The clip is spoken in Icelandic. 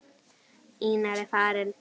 Einar er farinn.